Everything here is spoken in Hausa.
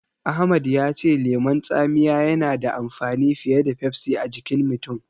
Ahmad ya ce lemon tsamiya yana da amfani fiye da Pepsi a jikin mutum.